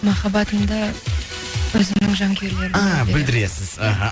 махаббатымды өзімнің жанкүйерлерім ааа білдіресіз іхі